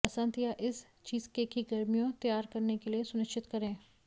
वसंत या इस चीज़केक की गर्मियों तैयार करने के लिए सुनिश्चित करें